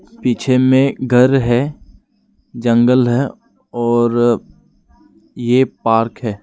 पीछे में घर है जंगल है और ये पार्क है।